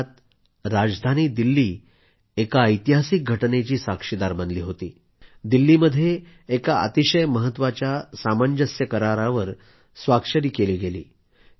याच काळात राजधानी दिल्ली एका ऐतिहासिक घटनेची साक्षीदार बनली दिल्लीमध्ये एका अतिशय महत्वाच्या सामंजस्य करारावर स्वाक्षरी केल्या